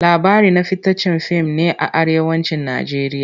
Labari na fitaccen fim ne a Arewacin Najeriya.